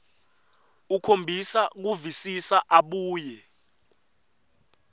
ukhombisa kuvisisa abuye